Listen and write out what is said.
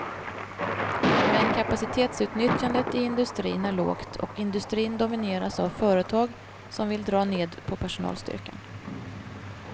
Men kapacitetsutnyttjandet i industrin är lågt och industrin domineras av företag som vill dra ned på personalstyrkan.